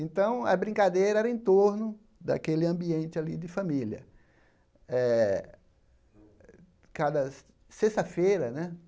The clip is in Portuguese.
Então, a brincadeira era em torno daquele ambiente ali de família. Eh cada sexta-feira né